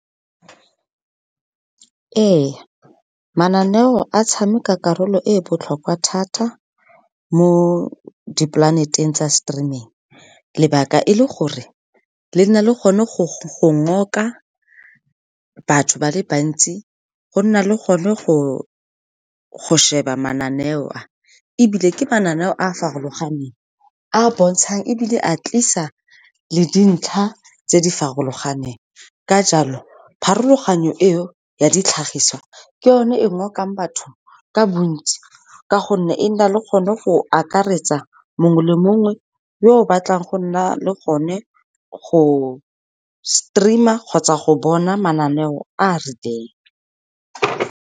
Ee, mananeo a tshameka karolo e botlhokwa thata mo di-planet-eng tsa streaming, lebaka e le gore le na le gone go ngoka batho ba le bantsi, go nna le gone go sheba mananeo a. Ebile ke mananeo a a farologaneng, a bontshang ebile a tlisa le dintlha tse di farologaneng. Ka jalo, pharologanyo e o ya ditlhagiso ke yone e ngokang batho ka bontsi, ka gonne e na le kgone go akaretsa mongwe le mongwe yo o batlang go nna le gone go stream-a kgotsa go bona mananeo a a rileng.